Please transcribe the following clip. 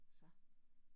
Så